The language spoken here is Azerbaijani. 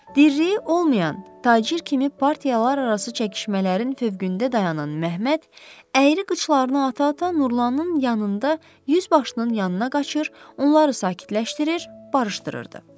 Dirliyi olmayan tacir kimi partiyalararası çəkişmələrin fövqündə dayanan Məhəmməd əyri qıçlarını ata-ata Nurlanın yanında yüzbaşının yanına qaçır, onları sakitləşdirir, barışdırırdı.